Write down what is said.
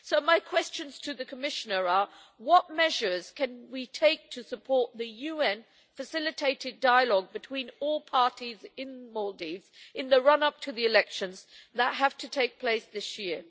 So my questions to the Commissioner are what measures can we take to support the UN facilitated dialogue between all parties in the Maldives in the run up to the elections that have to take place this year?